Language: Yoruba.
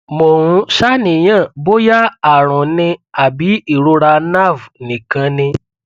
mo ń ṣàníyàn bóyá àrùn ni àbí ìrora nerve nìkan ni